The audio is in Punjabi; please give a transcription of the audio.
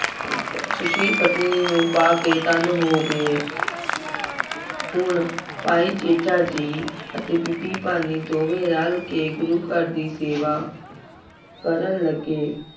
ਸ਼ੁਸ਼ੀਲ ਪਤਨੀ ਨੂੰ ਪਾ ਕੇ ਧੰਨ ਹੋ ਗਏ। ਹੁਣ ਭਾਈ ਜੇਠਾ ਜੀ ਅਤੇ ਬੀਬੀ ਭਾਨੀ ਦੋਵੇਂ ਰਲ ਕੇ ਗੁਰੂ ਘਰ ਦੀ ਸੇਵਾ ਕਰਨ ਲੱਗੇ।